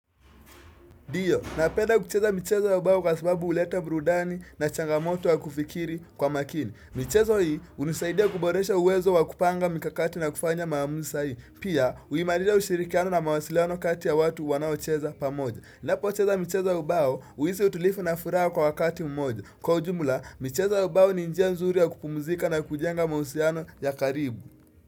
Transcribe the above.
Ndio, napenda kucheza michezo ya bao kwa sababu uleta brudani na changamoto wa kufikiri kwa makini. Michezo hii, unisaidia kuboresha uwezo wa kupanga mikakati na kufanya maamuza sahihi Pia, uimadida ushirikiano na mawasiliano kati ya watu wanaocheza pamoja. Napo cheza michezo ya ubao, uisi utulifu na furaha kwa wakati mmoja. Kwa ujumula, michezo ya ubao ni njia nzuri ya kupumuzika na kujenga mausiano ya karibu.